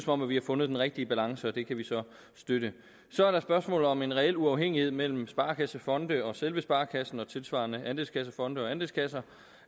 om vi har fundet den rigtige balance og det kan vi så støtte så er der spørgsmålet om en reel uafhængighed mellem sparekassefonde og selve sparekassen og tilsvarende andelskassefonde og andelskasser